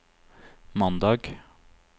mandag